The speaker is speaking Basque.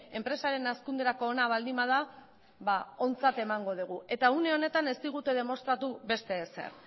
enpresaren hazkunderako ona baldin bada ba ontzat emango dugu eta une honetan ez digute demostratu beste ezer